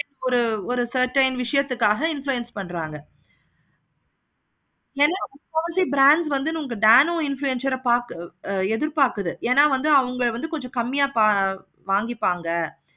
ஒரு ஒரு certain விஷயத்துக்காக influence பண்றாங்க. nano influencer பார்த்து எதிர் பார்க்குது. அவங்க வந்து கொஞ்சம் கம்மியா வாங்கிருப்பாங்க